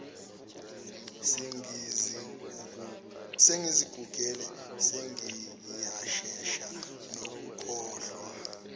sengizigugele sengiyashesha nokukhohlwa